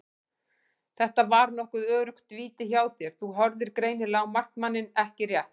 Þetta var nokkuð öruggt víti hjá þér, þú horfðir greinilega á markmanninn ekki rétt?